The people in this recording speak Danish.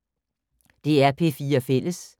DR P4 Fælles